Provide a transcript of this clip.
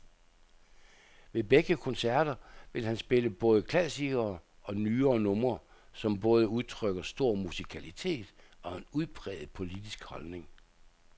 Ved begge koncerter vil han spille både klassikere og nyere numre, som både udtrykker stor musikalitet og en udpræget politisk holdning.